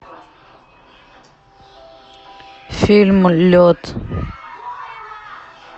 фильм лед